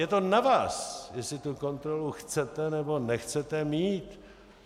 Je to na vás, jestli tu kontrolu chcete, nebo nechcete mít.